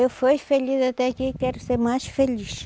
Eu fui feliz até aqui e quero ser mais feliz.